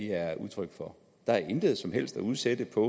er udtryk for der er intet som helst at udsætte på